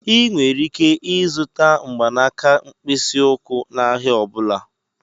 Ị nwere ike ịzụta mgbanaka mkpịsị ụkwụ n'ahịa ọ bụla.